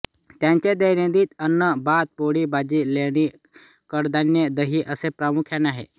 त्यांचे दैनंदिन अन्न भात पोळी भाजी लोणी कडधान्ये दही असे प्रामुख्याने आहे